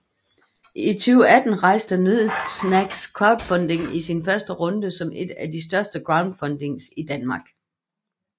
I 2018 rejste Nød Snacks crowdfunding i sin første runde som et af de hurtigste crowdfundings i Danmark